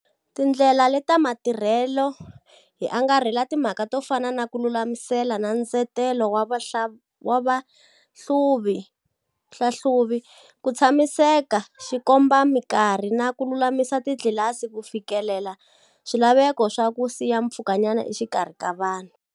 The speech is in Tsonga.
Tindlela leta matirhelo hi angarhela timhaka to fana na ku lulamisela na ndzetelo wa vahlahluvi, ku tshamisekisa xikombamikarhi na ku lulamisa titlilasi ku fikelela swilaveko swa ku siya mpfhukanyana exikarhi ka vanhu.